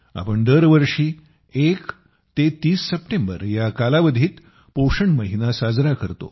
आपण दरवर्षी 1 ते 30 सप्टेंबर या कालावधीत पोषण महिना साजरा करतो